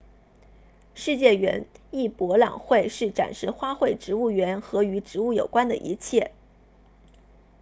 世界园艺博览会是展示花卉植物园和与植物有关的一切